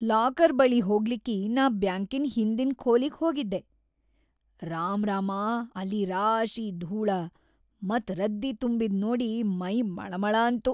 Locker ಬಳಿ ಹೋಗ್ಲಿಕ್ಕಿ ನಾ ಬ್ಯಾಂಕಿನ್‌ ಹಿಂದಿನ್‌ ಖೋಲಿಗ್‌ ಹೋಗಿದ್ದೆ, ರಾಮ್ರಾಮಾ ಅಲ್ಲಿ ರಾಶಿ ಧೂಳ ಮತ್ ರದ್ದಿ ‌ತುಂಬಿದ್ ನೋಡಿ ಮೈ ಮಳಮಳ ಅಂತು.